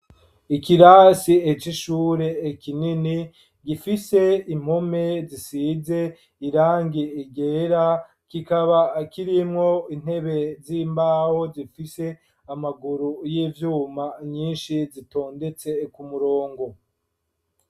Ikirasi c'ishure kinini gifise impome zisize irangi ryera kikaba kirimwo intebe z'imbawo zifise amaguru y'ivyuma nyinshi zitondetse ku murongo.